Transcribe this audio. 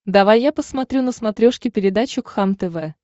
давай я посмотрю на смотрешке передачу кхлм тв